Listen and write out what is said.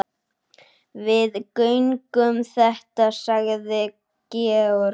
Við göngum þetta sagði Georg.